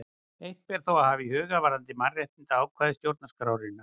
Eitt ber þó að hafa í huga varðandi mannréttindaákvæði stjórnarskrárinnar.